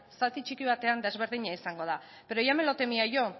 zati txiki batean desberdina izango da pero ya me lo temía yo